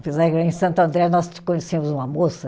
Apesar que em Santo André nós conhecemos uma moça